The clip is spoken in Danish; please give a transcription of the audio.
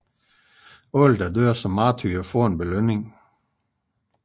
Enhver der dør som martyr får en belønning